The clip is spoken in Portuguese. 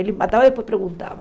Ele matava e depois perguntava.